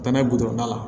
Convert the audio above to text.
Tɛmɛ la